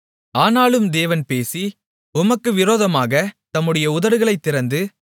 ஆனாலும் தேவன் பேசி உமக்கு விரோதமாகத் தம்முடைய உதடுகளைத் திறந்து